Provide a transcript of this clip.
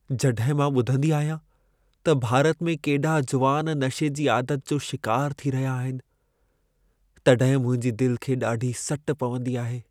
जॾहिं मां ॿुधंदी आहियां त भारत में केॾा जुवान नशे जी आदत जो शिकार थी रहिया आहिनि, तॾहिं मुंहिंजे दिल खे ॾाढी सट पवंदी आहे।